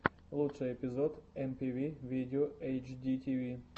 лучший эпизод эмпиви видео эйчдитиви